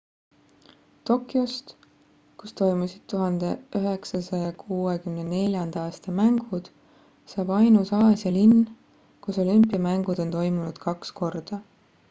tokyost kus toimusid 1964 aasta mängud saab ainus aasia linn kus olümpiamängud on toimunud kaks korda